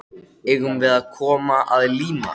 Eigum við að koma að líma?